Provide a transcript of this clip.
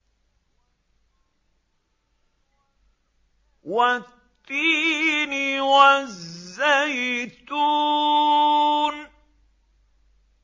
وَالتِّينِ وَالزَّيْتُونِ